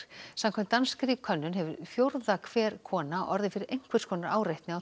samkvæmt danskri könnun hefur fjórða hver kona orðið fyrir einhvers konar áreitni á